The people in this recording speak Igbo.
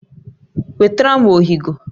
Wetara m ọhịgọ